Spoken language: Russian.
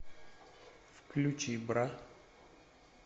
включи бра